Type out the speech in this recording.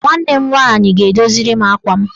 Nwanne m nwaanyị ga-edoziri m akwa m.